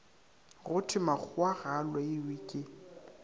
go thwemakgowa ga a loiweke